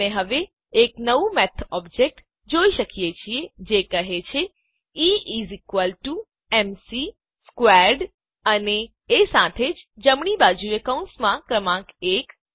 આપણે હવે એક નવું મેથ ઓબ્જેક્ટ જોઈએ છીએ જે કહે છે E is equal to M C squared E એ એમ સી નાં વર્ગ બરાબર છે અને એ સાથે જ જમણી બાજુએ કૌંસમાં ક્રમાંક એક